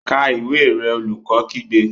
Ka ìwé rẹ! Olùkọ́ kígbe.